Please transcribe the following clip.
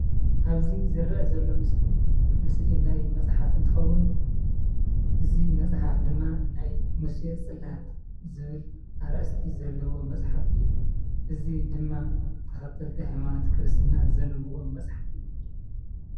ኣብዚ ዝረአ ዘሎ ምስሊ ምስሊ ናይ መፅሓፍ እንትከውን እዚ መፅሓፍ ድማ ናይ ሙሴ ፅላት ዝብል ኣርእስቲ ዘለዎ መፅሓፍ እዩ። እዚ ድማ ተከተልቲ ሃይማኖት ክርስትና ዘንብብዎ መፅሓፍ እዩ ።